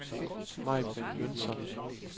Maibritt Jønsson